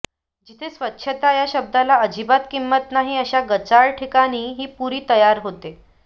जिथे स्वच्छता या शब्दाला अजिबात किंमत नाही अशा गचाळ ठिकाणी ही पुरी तयार होते